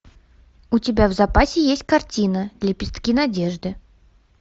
у тебя в запасе есть картина лепестки надежды